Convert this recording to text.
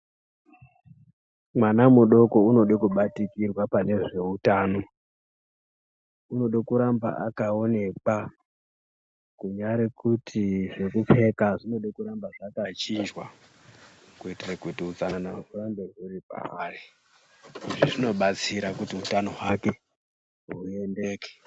Mwana mudoko unode kubatikirwa pane zveutano. Unode kuramba akaonekwa kunyari kuti zvekupfeka zvinode kuramba zvakachinjwa ,kuitire kuti utsanana hurambe huri pavari. Izvi zvinobatsira kuti utano hwake huendeke.